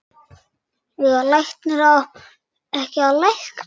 Eiga læknar ekki að lækna?